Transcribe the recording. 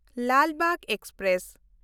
Lal Bagh express